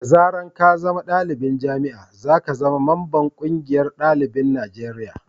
da zaran ka zama dalibin jami'a, za ka zama mamban ƙungiyar dalibin Najeriya